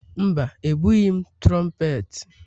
Mba, ebughị m trompeti.